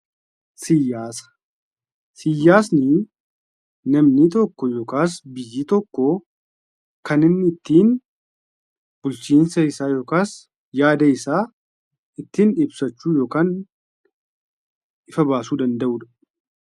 Siyaasa. Siyaasni namni tokko yookiin biyyi tokkoo kan inni ittiin bulchiinsa isaa yookiin yaada isaa ittiin ibsachuu danda'uu fi ifa baasuu danda'uu dha.